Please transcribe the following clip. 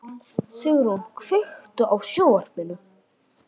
Sigrún, kveiktu á sjónvarpinu.